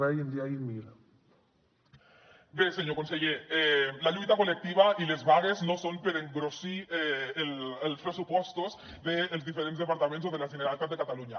bé senyor conseller la lluita col·lectiva i les vagues no són per engrossir els pressupostos dels diferents departaments o de la generalitat de catalunya